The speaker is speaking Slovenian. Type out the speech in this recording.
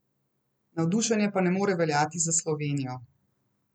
Navdušenje pa ne more veljati za Slovenijo.